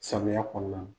Samiya kɔnɔna na